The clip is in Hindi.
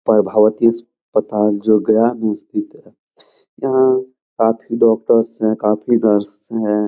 परभावती अस अस्पताल जो गया में स्थित है। यहाँ काफी डॉक्टर्स है। काफी नर्स हैं।